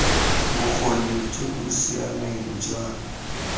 bokgoni jo bo siameng jwa